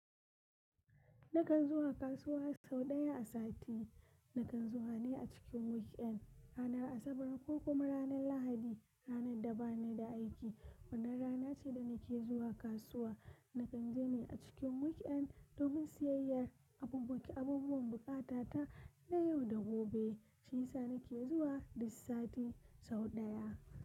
Nakan zuwa kasuwa sau ɗaya a sati. Nakan zuwa ne a cikin weekend, ranar Asabar ko kuma ranar Lahadi, ranar da ba ni da aiki. Wannan rana ce da nake zuwa kasuwa. Nakan je ne a cikin weekend domin siyayyar abubuki, abubuwan buƙata ta na yau da gobe. Shisa nake zuwa duk sati sau ɗaya.